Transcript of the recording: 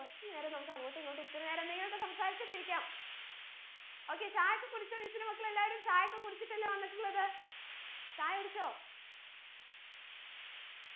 കുറച്ച് നേരം നമ്മക്ക് അങ്ങോട്ടു ഇങ്ങോട്ടു ഇത്തിരി നേരം എന്തെങ്കിലുമൊക്കെ സംസാരിച്ചിട്ടിരിക്കാം okay ചായൊക്കെ കുടിച്ചോ miss ന്റെ മക്കൾ എല്ലാവരും ചായൊക്കെ കുടിച്ചിട്ടല്ലെ വന്നിട്ടുള്ളത് ചായ കുടിച്ചോ